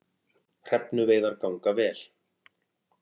Hrefnuveiðar ganga vel